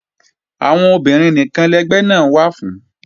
Àwọn obìnrin nìkan lẹgbẹ́ náà wà fún